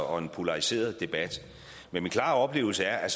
og en polariseret debat men min klare oplevelse er